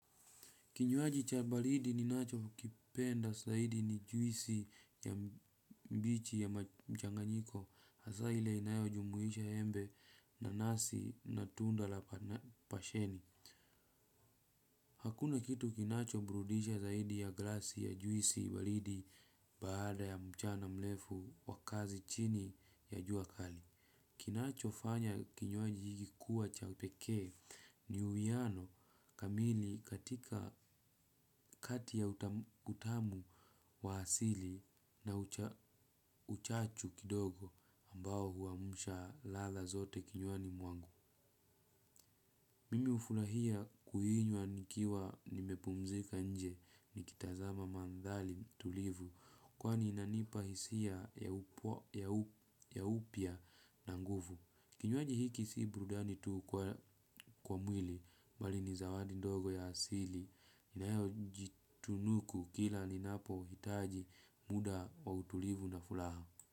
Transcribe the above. Kinywaji cha balidi ninacho kipenda zaidi ni juisi ya mbichi ya maja mchanganyiko hasaa ile inayojumuisha embe nanasi na tunda la pasheni. Hakuna kitu kinacho burudisha zaidi ya glasi ya juisi balidi baada ya mchana mlefu wa kazi chini ya jua kali. Kinachofanya kinywaji hiki kuwa cha pekee ni uiano kamili katika kati ya utamu wa asili na uchachu kidogo ambao huamsha ladha zote kinywani mwangu. Mimi ufulahia kuinywa nikiwa nimepumzika nje nikitazama mandhali tulivu kwani inanipa hisia ya upya na nguvu. Kinywaji hiki si burudani tu kwa mwili, bali ni zawadi ndogo ya asili, inayojitunuku kila ninapohitaji muda wa utulivu na fulaha.